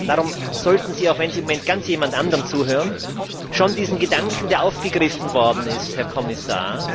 Darum sollten Sie auch wenn Sie im Moment jemand ganz anderem zuhören schon diesen Gedanken, der aufgegriffen worden ist, Herr Kommissar,